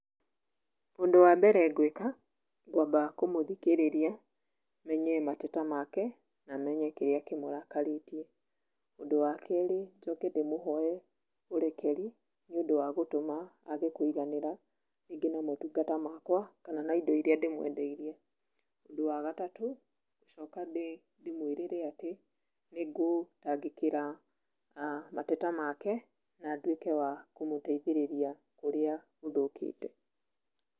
Ũndũ wa mbere ngũĩka, ngwamba kũmũthikĩrĩria menye mateta make na menye kĩrĩa kĩmũrakarĩtie. Ũndũ wa kerĩ njoke ndĩmũhoe ũrekeri nĩ ũndũ wa gũtũma age kũiganĩra, rĩngĩ na motungata makũa kana na indo iria ndĩmũendeirie. Ũndũ wa gatatũ gũcoka ndĩmũĩrĩre atĩ nĩngũtangĩkĩra mateta make na nduĩke wa kũmũteithĩrĩria kũrĩa gũthũkĩte.